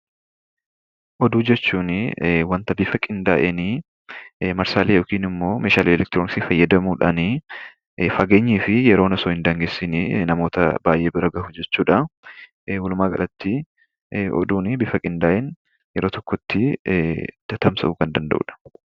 Oduu jechuunii wanta bifa qindaa'eenii marsaalee yookiin immoo meeshaalee elektirooniksii fayyadamuudhaanii fageenyii fi yeroon hin daangessinii namoota baay'ee bira gahu jechuu dhaa. Walumaagalatti, oduunii bifa qindaa'een yeroo tokkotti tatamsa'uu kan danda'uu dha.